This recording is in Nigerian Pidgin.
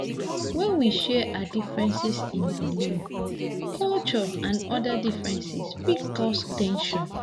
When we share our difference in beliefs, culture and oda differences fit cause ten sion